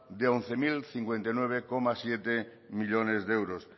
de once mil cincuenta y nueve coma siete millónes de euros